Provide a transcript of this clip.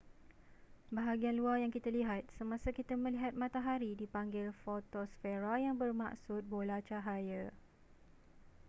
bahagian luar yang kita lihat semasa kita melihat matahari dipanggil fotosfera yang bermaksud bola cahaya